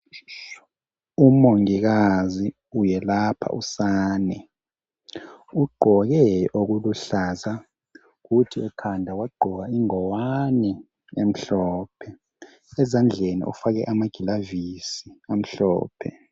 Umongikazi iyelapha usane ugqoke okuluhlaza kuthi ekhanda wagqoka ingowane emhlophe ezandleni ufake amagilavisi amhlophe